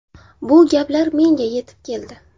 Bu gaplar menga yetib keldi.